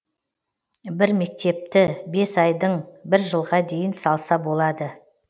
бір мектепні бес айдын бір жылға дейін салса болады